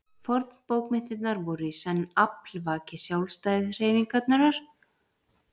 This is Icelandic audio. Fornbókmenntirnar voru í senn aflvaki sjálfstæðishreyfingarinnar og uppspretta nýrra sígildra bókmennta.